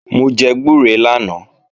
Mò jẹ gbúre lánàá